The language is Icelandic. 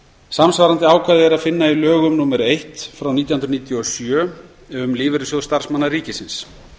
samsvarandi ákvæði er að finna í lögum númer nítján hundruð níutíu og sjö um lífeyrissjóð starfsmanna ríkisins